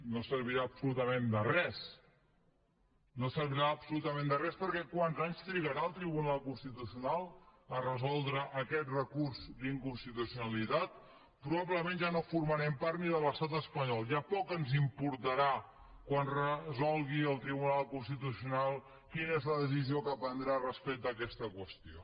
no servirà absolutament de res no servirà absolutament de res perquè quants anys trigarà el tribunal constitucional a resoldre aquest recurs d’inconstitucionalitat probablement ja no formarem part ni de l’estat espanyol ja poc ens importarà quan resolgui el tribunal constitucional quina és la decisió que prendrà respecte a aquesta qüestió